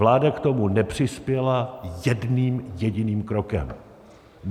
Vláda k tomu nepřispěla jedním jediným krokem.